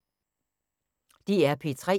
DR P3